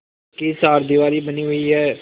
पक्की चारदीवारी बनी हुई है